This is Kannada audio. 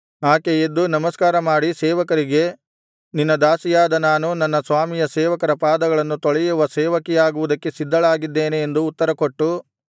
ಆಕೆ ಎದ್ದು ನಮಸ್ಕಾರಮಾಡಿ ಸೇವಕರಿಗೆ ನಿನ್ನ ದಾಸಿಯಾದ ನಾನು ನನ್ನ ಸ್ವಾಮಿಯ ಸೇವಕರ ಪಾದಗಳನ್ನು ತೊಳೆಯುವ ಸೇವಕಿಯಾಗುವುದಕ್ಕೆ ಸಿದ್ಧಳಾಗಿದ್ದೇನೆ ಎಂದು ಉತ್ತರಕೊಟ್ಟು